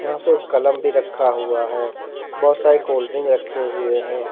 यहां पर कलम भी रखा हुआ है बहोत सारी कोल्ड ड्रिंक रखे हुए हैं।